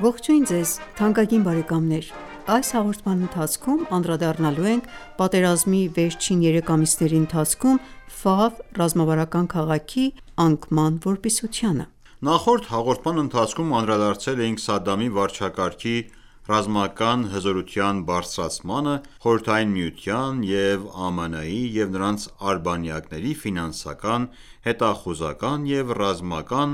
Ողջույն ձեզ թանկագին բարեկամներ: Այս հաղորդման ընթացքում անդրադառնալու ենք պատերազմի վերջին երեք ամիսների ընթացքում ռազմավարական քաղաքի անկման որպիսությանը: Նախորդ հաղորդման ընթացքում անդրադարձել էինք Սադամի վարչակարգի ռազմական հզորության բարձրացմանը՝ Խորհրդային Միության և ԱՄՆ-ի և նրանց արբանյակների ֆինանսական, հետախուզական և ռազմական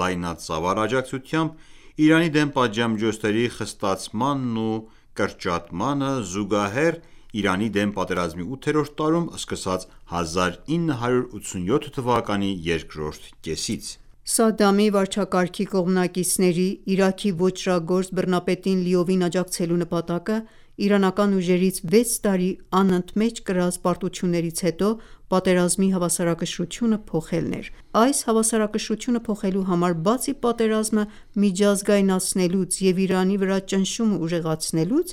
լայնածավալ աջակցությամբ՝ Իրանի դեմ պատժամիջոցների խստացմանն ու կրճատմանը զուգահեռ՝ Իրանի դեմ պատերազմի ութերորդ տարում սկսած՝ 1987 թվականի երկրորդ կեսից։ Սադամի վարչակարգի կողմնակիցների՝ Իրաքի ոճրագործ բռնապետին լիովին աջակցելու նպատակը իրանական ուժերից վեց տարի անընդմեջ կրած պարտություններից հետո պատերազմի հավասարակշռությունը փոխելն էր։ Այս հավասարակշռությունը փոխելու համար, բացի պատերազմը միջազգայնացնելուց և Իրանի վրա ճնշումը ուժեղացնելուց,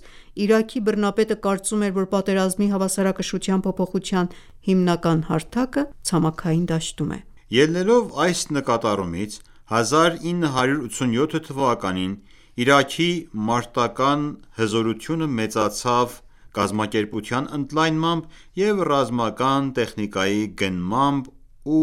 Իրաքի բռնապետը կարծում էր, որ պատերազմի հավասարակշռության փոփոխության հիմնական հարթակը ցամաքային դաշտում է։ Ելնելով այս նկատառումից՝ 1987 թվականին Իրաքի մարտական ​​հզորությունը մեծացավ կազմակերպության ընդլայնմամբ և ռազմական տեխնիկայի գնմամբ ու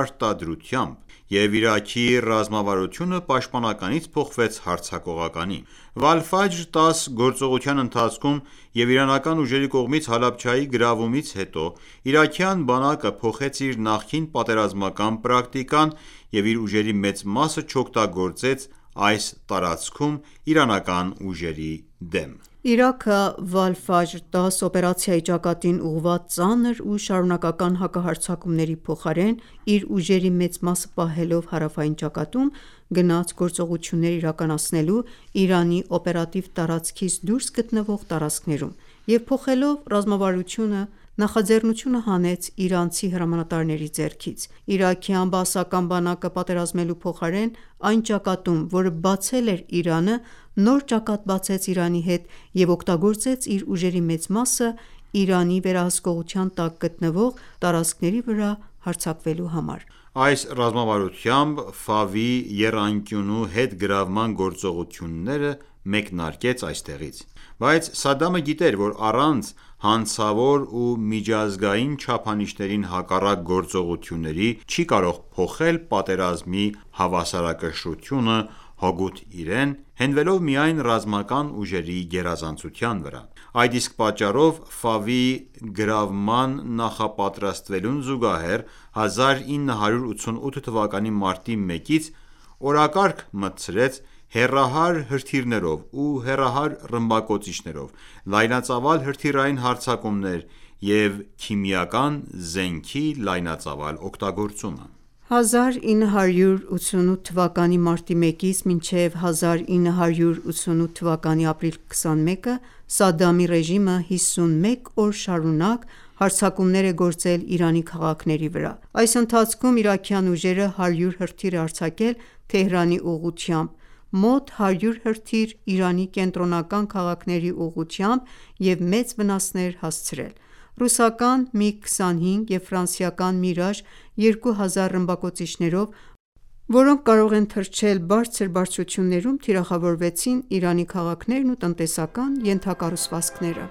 արտադրությամբ, և Իրաքի ռազմավարությունը պաշտպանականից փոխվեց հարձակողականի։ Վալֆաջր 10 գործողության ընթացքում և իրանական ուժերի կողմից Հալաբջայի գրավումից հետո իրաքյան բանակը փոխեց իր նախկին պատերազմական պրակտիկան և իր ուժերի մեծ մասը չօգտագործեց այս տարածքում իրանական ուժերի դեմ: Իրաքը, «Վալֆաջր 10» օպերացիայի ճակատին ուղղված ծանր ու շարունակական հակահարձակումների փոխարեն, իր ուժերի մեծ մասը պահելով հարավային ճակատում, գնաց գործողություններ իրականացնելու Իրանի օպերատիվ տարածքից դուրս գտնվող տարածքներում և փոխելով ռազմավարությունը նախաձեռնությունը հանեց իրանցի հրամանատարների ձեռքից: Իրաքյան բաասական բանակը պատերազմելու փոխարեն այն ճակատում, որը բացել էր Իրանը, նոր ճակատ բացեց Իրանի հետ և օգտագործեց իր ուժերի մեծ մասը Իրանի վերահսկողության տակ գտնվող տարածքների վրա հարձակվելու համար: Այս ռազմավարությամբ Ֆավի եռանկյունու հետգրավման գործողությունները մեկնարկեց այստեղից: Բայց Սադամը գիտեր, որ առանց հանցավոր և միջազգային չափանիշներին հակառակ գործողությունների չի կարող փոխել պատերազմի հավասարակշռությունը հօգուտ իրեն՝ հենվելով միայն ռազմական ուժերի գերազանցության վրա։ Այդ իսկ պատճառով, Ֆավի գրավմանը նախապատրաստվելուն զուգահեռ, 1988 թվականի մարտի 1-ից օրակարգ մտցրեց հեռահար հրթիռներով ու հեռահար ռմբակոծիչներով լայնածավալ հրթիռային հարձակումները և քիմիական զենքի լայնածավալ օգտագործումը։ 1988 թվականի մարտի 1-ից մինչև 1988 թվականի ապրիլի 21-ը Սադամի ռեժիմը 51 օր շարունակ հարձակումներ է գործել Իրանի քաղաքների վրա։ Այս ընթացքում իրաքյան ռեժիմը 100 հրթիռ է արձակել Թեհրանի ուղղությամբ, մոտ 100 հրթիռ՝ Իրանի կենտրոնական քաղաքների ուղղությամբ և մեծ վնասներ հասցրեց։ Ռուսական MiG 25 և ֆրանսիական Mirage 2000 ռմբակոծիչներով, որոնք կարող են թռչել բարձրություններում, թիրախավորվեցին Իրանի քաղաքներն ու տնտեսական ենթակառուցվածքները։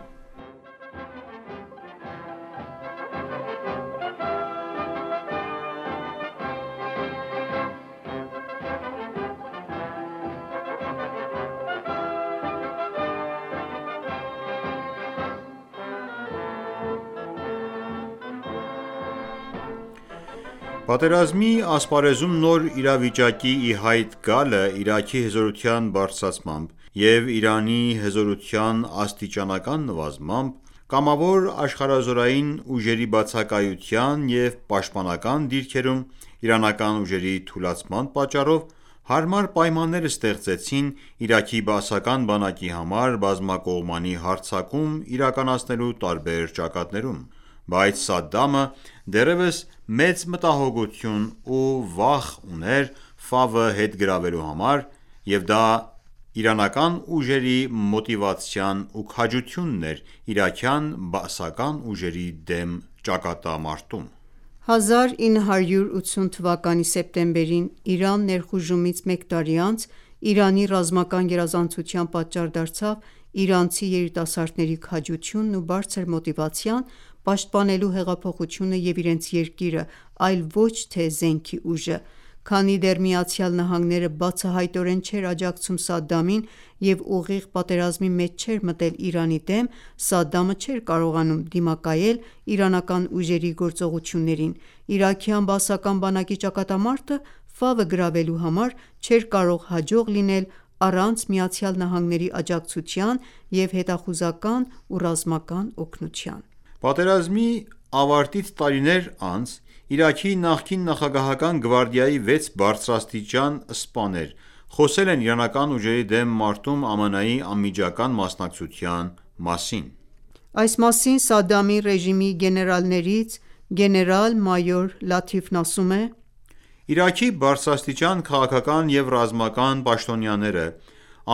Պատերազմի ասպարեզում նոր իրավիճակի ի հայտ գալը Իրաքի հզորության բարձրացմամբ և Իրանի հզորության աստիճանական նվազմամբ, կամավոր աշխարհազորային ուժերի բացակայության և պաշտպանական դիրքերում իրանական ուժերի թուլացման պատճառով, հարմար պայմաններ ստեղծեցին Իրաքի բաասական բանակի համար բազմակողմանի հարձակում իրականացնելու տարբեր ճակատներում: Բայց Սադդամը դեռևս մեծ մտահոգություն ու վախ ուներ հետ գրավելու համար, և դա իրանական ուժերի մոտիվացիան ու քաջությունն էր իրաքյան բաասական ուժերի դեմ ճակատամարտում: 1980 թվականի սեպտեմբերին Իրան ներխուժումից մեկ տարի անց Իրանի ռազմական գերազանցության պատճառ դարձավ իրանցի երիտասարդների քաջությունն ու բարձր մոտիվացիան՝ պաշտպանելու հեղափոխությունը և իրենց երկիրը, այլ ոչ թե զենքի ուժը: Քանի դեռ ԱՄՆ-ն բացահայտորեն չէր աջակցում Սադամին և ուղիղ պատերազմի մեջ չէր մտել Իրանի դեմ, Սադամը չէր կարողանում դիմակայել իրանական ուժերի գործողություններին։ Իրաքյան բաասական բանակի ճակատամարտը՝ Ֆավը գրավելու համար, չէր կարող հաջող լինել առանց ԱՄՆ-ի աջակցության և հետախուզական ու ռազմական օգնության: Պատերազմի ավարտից տարիներ անց Իրաքի նախկին նախագահական գվարդիայի վեց բարձրաստիճան սպաներ խոսել են իրանական ուժերի դեմ մարտում ԱՄՆ-ի անմիջական մասնակցության մասին։ Այս մասին Սադամի ռեժիմի գեներալներից գեներալ-մայոր Լաթիֆն ասում է.«Իրաքի բարձրաստիճան քաղաքական և ռազմական պաշտոնյաները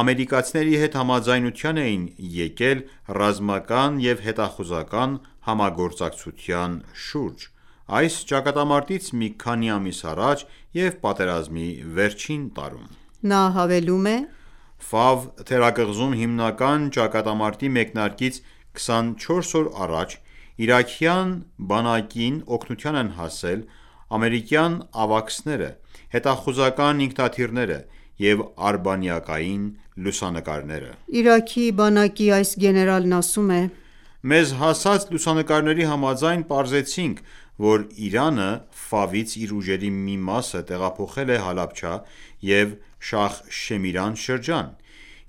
ամերիկացիների հետ համաձայնության էին եկել ռազմական և հետախուզական համագործակցության շուրջ այս ճակատամարտից մի քանի ամիս առաջ և պատերազմի վերջին տարում»։ Նա հավելում է.«Ֆավ թերակղզում հիմնական ճակատամարտի մեկնարկից 24 օր առաջ իրաքյան բանակին օգնության են հասել ամերիկյան AWACS-ները, հետախուզական ինքնաթիռները և արբանյակային լուսանկարները»։ Իրաքի բանակի այս գեներալն ասում է.«Մեզ հասած լուսանկարների համաձայն՝ պարզեցինք, որ Իրանը Ֆավից իր ուժերի մի մասը տեղափոխել է Հալաբջա և Շախ Շեմիրան շրջան։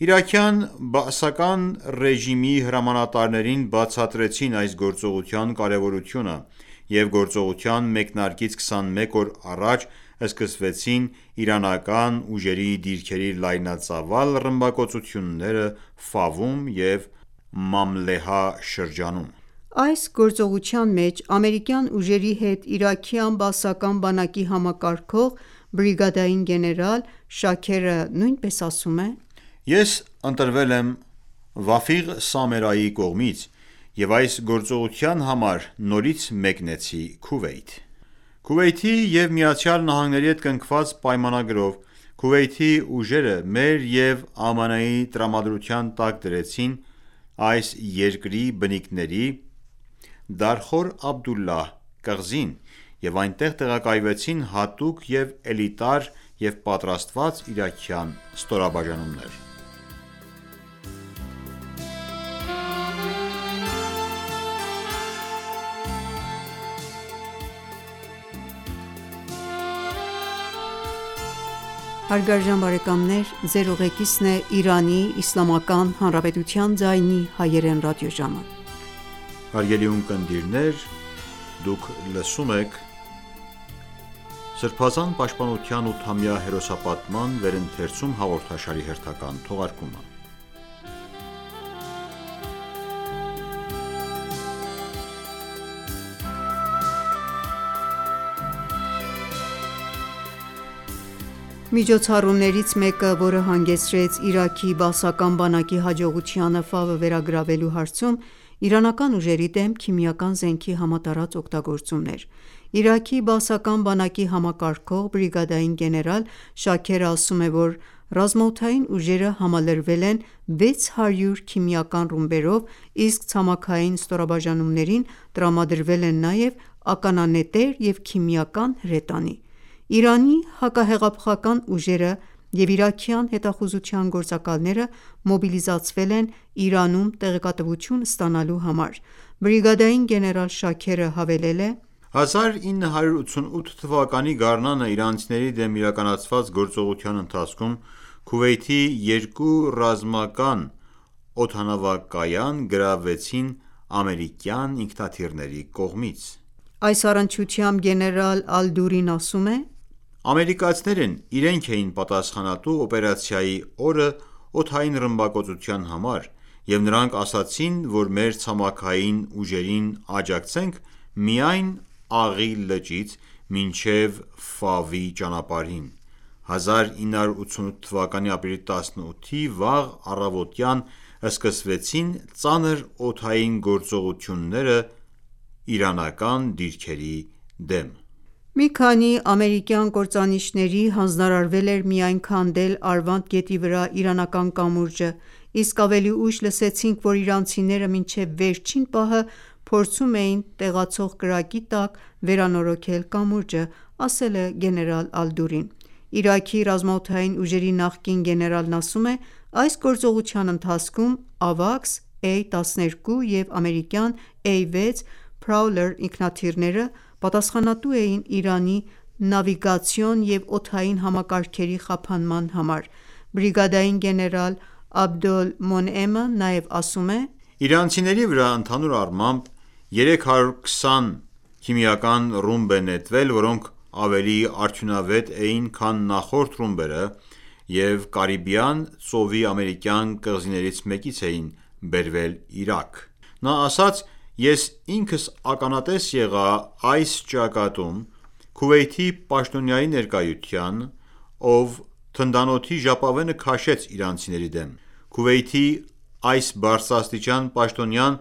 Իրաքյան Բաասի ռեժիմի հրամանատարներին բացատրեցին այս գործողության կարևորությունը և գործողության մեկնարկից 21 օր առաջ սկսվեցին իրանական ուժերի դիրքերի լայնածավալ ռմբակոծությունները Ֆավում և Մամլեհա շրջանում»։ Այս գործողության մեջ ամերիկյան ուժերի հետ իրաքյան բաասական բանակի համակարգող, բրիգադային գեներալ Շաքերը նույնպես ասում է.«Ես ընտրվել եմ Վաֆիղ Սամերայի կողմից և այս գործողության համար նորից մեկնեցի Քուվեյթ: Քուվեյթի և ԱՄՆ-ի հետ կնքված պայմանագրով Քուվեյթի ուժերը մեր և ԱՄՆ-ի տրամադրության տակ դրեցին այս երկրի բնիկների Դարխոր Աբդուլլահ կղզին, և այնտեղ տեղակայվեցին հատուկ և էլիտար և պատրաստված իրաքյան ստորաբաժանումներ»։ Միջոցառումներից մեկը, որը հանգեցրեց Իրաքի բաասական բանակի հաջողությանը Ֆավը վերագրավելու հարցում, իրանական ուժերի դեմ քիմիական զենքի համատարած օգտագործումն էր: Իրաքի բաասական բանակի համակարգող, բրիգադային գեներալ Շաքերը ասում է, որ ռազմաօդային ուժերը համալրվել են 600 քիմիական ռումբերով, իսկ ցամաքային ստորաբաժանումներին տրամադրվել են նաև ականանետեր և քիմիական հրետանի։ Իրանի հակահեղափոխական ուժերը և իրաքյան հետախուզության գործակալները մոբիլիզացվել են՝ Իրանում տեղեկատվություն ստանալու համար։ Բրիգադային գեներալ Շաքերը հավելել է.«1988 թվականի գարնանը իրանցիների դեմ իրականացված գործողության ընթացքում Քուվեյթի երկու ռազմական օդանավակայան գրավվեցին ամերիկյան ինքնաթիռների կողմից»։ Այս առնչությամբ գեներալ Ալ-Դուրին ասում է. «Ամերիկացիներն իրենք էին պատասխանատու օպերացիայի օրը օդային ռմբակոծության համար, և նրանք ասացին, որ մեր ցամաքային ուժերին աջակցենք միայն Աղի լճից մինչև Ֆավի ճանապարհին, 1988 թվականի ապրիլի 18-ի վաղ առավոտյան սկսվեցին ծանր օդային գործողություններ իրանական դիրքերի դեմ։ Մի քանի ամերիկյան կործանիչների հանձնարարվել էր միայն քանդել Արվանդ գետի վրա իրանական կամուրջը, իսկ ավելի ուշ լսեցինք, որ իրանցիները մինչև վերջին պահը փորձում էին տեղացող կրակի տակ վերանորոգել կամուրջը»։ Իրաքի ռազմաօդային ուժերի նախկին գեներալն ասում է. «Այս գործողության ընթացքում Ավաքս A-12 և ամերիկյան A6 Prowler ինքնաթիռները պատասխանատու էին Իրանի նավիգացիոն և օդային համակարգերի խափանման համար: Բրիգադային գեներալ Աբդուլ Մոնեյմը նաև ասում է.«Իրանցիների վրա ընդհանուր առմամբ 320 քիմիական ռումբ է նետվել, որոնք ավելի արդյունավետ էին, քան նախորդ ռումբերը և Կարիբյան ծովի ամերիկյան կղզիներից մեկից էին բերվել Իրաք»։ Նա ասաց.«Ես ինքս ականատես եղա այս ճակատում Քուվեյթի պաշտոնյայի ներկայությանը, ով թնդանոթի ժապավենը քաշեց իրանցիների դեմ։ Քուվեյթի այս բարձրաստիճան պաշտոնյան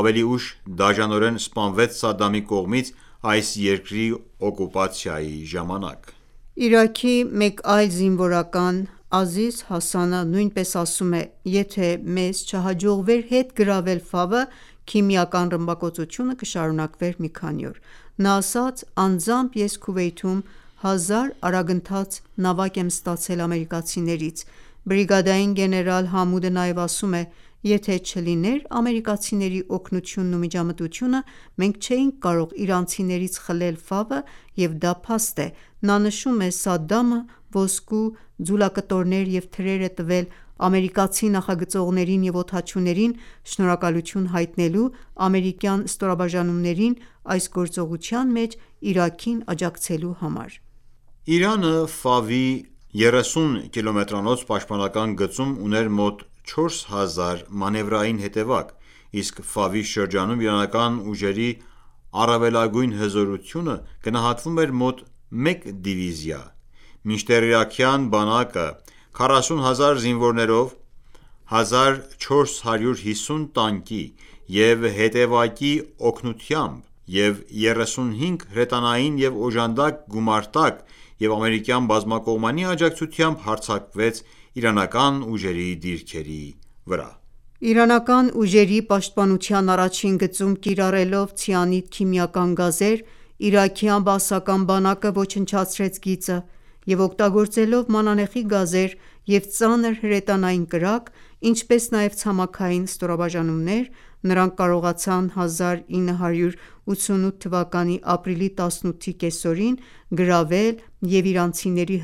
ավելի ուշ դաժանորեն սպանվեց Սադամի կողմից այս երկրի օկուպացիայի ժամանակ»։ Իրաքի մեկ այլ զինվորական Ազիզ Հասանը նույնպես ասում է. «Եթե մեզ չհաջողվեր հետ գրավել Ֆավը, քիմիական ռմբակոծությունը կշարունակվեր մի քանի օր»: Նա ասաց.«Անձամբ ես Քուվեյթում հազար արագընթաց նավակ եմ ստացել ամերիկացիներից»։ Բրիգադային գեներալ Համուդը նաև ասում է.«Եթե չլիներ ամերիկացիների օգնությունն ու միջամտությունը, մենք չէինք կարող իրանցիներից խլել Ֆավը և դա փաստ է»։ Նա նշում է.«Սադամը ոսկու ձուլակտորներ և թրեր է տվել ամերիկացի նախագծողներին և օդաչուներին՝ շնորհակալություն հայտնելու ամերիկյան ստորաբաժանումներին այս գործողության մեջ Իրաքին աջակցելու համար»։ Իրանը Ֆավի 30 կիլոմետրանոց պաշտպանական գծում ուներ մոտ 4000 մանևրային հետևակ, իսկ Ֆավի շրջանում իրանական ուժերի առավելագույն հզորությունը գնահատվում էր մոտ մեկ դիվիզիա, մինչդեռ իրաքյան բանակն 40000 զինվորներով՝ 1450 տանկի և հետևակի օգնությամբ և 35 հրետանային և օժանդակ գումարտակ և Ամերիկյան բազմակողմանի աջակցությամբ հարձակվեց իրանական ուժերի դիրքերի վրա։ Իրանական ուժերի պաշտպանության առաջին գծում կիրառելով ցիանիդ քիմիական գազեր, իրաքյան բաասական բանակը ոչնչացրեց գիծը և օգտագործելով մանանեխի գազեր և ծանր հրետանային կրակ, ինչպես նաև ցամաքային ստորաբաժանումներ, նրանք կարողացան 1988-ի ապրիլի 18-ի կեսօրին գրավել և իրանցիների